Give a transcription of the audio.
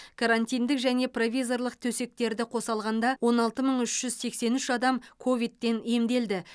карантиндік және провизорлық төсектерді қоса алғанда он алты мың үш жүз сексен үш адам ковидтен емделді